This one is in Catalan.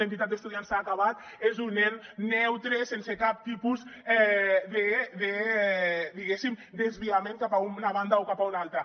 l’entitat d’estudiants s’ha acabat és un ens neutre sense cap tipus de diguéssim desviament cap a una banda o cap a una altra